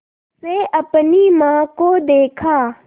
से अपनी माँ को देखा